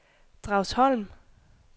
Dragsholm